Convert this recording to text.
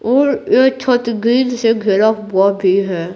और ये छत ग्रील से घिरा हुआ भी है।